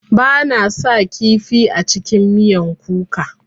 Bana sa kifi a cikin miyan kuka.